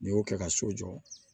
N'i y'o kɛ ka so jɔ